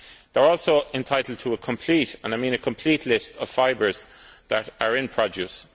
They are also entitled to a complete and I mean complete list of the fibres that are in products